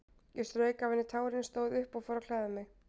Ég strauk af henni tárin, stóð upp og fór að klæða mig.